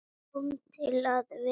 Komin til að vera?